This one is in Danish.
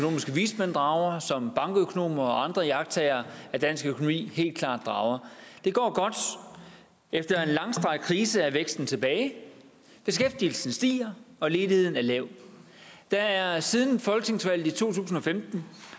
vismænd drager som bankøkonomer og andre iagttagere af dansk økonomi helt klart drager det går godt efter en langstrakt krise er væksten tilbage beskæftigelsen stiger og ledigheden er lav der er siden folketingsvalget i to tusind og femten